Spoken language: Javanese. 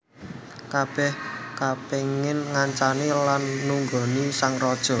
Kabèh kapéngin ngancani lan nunggoni sang raja